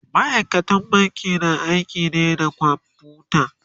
ma'aikatan banki na aiki ne da kwamfuta